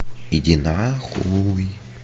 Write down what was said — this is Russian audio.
иди на хуй